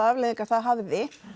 afleiðingar það hafði